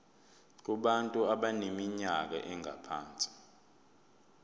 kubantu abaneminyaka engaphansi